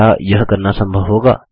क्या यह करना संभव होगा